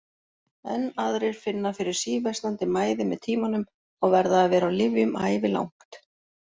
Enn aðrir finna fyrir síversnandi mæði með tímanum og verða að vera á lyfjum ævilangt.